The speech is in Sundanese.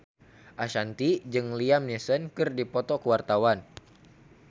Ashanti jeung Liam Neeson keur dipoto ku wartawan